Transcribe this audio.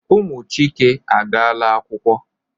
Ụmụ Chike agaala akwụkwọ.